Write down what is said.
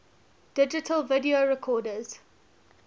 digital video recorders